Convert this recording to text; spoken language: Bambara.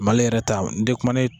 Mali yɛrɛ ta n tɛ kuma ni.